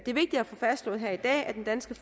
vigtigt at få fastslået her i dag at den danske